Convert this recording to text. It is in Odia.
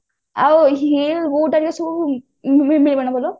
ଆଉ hill boot ସବୁ ମିଳିବ ନା ଭଲ